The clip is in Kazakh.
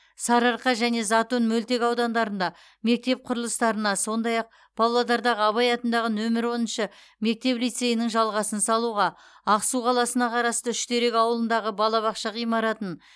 сарыарқа және затон мөлтекаудандарында мектеп құрылыстарына сондай ақ павлодардағы абай атындағы нөмір оныншы мектеп лицейінің жалғасын салуға ақсу қаласына қарасты үштерек ауылындағы балабақша ғимаратын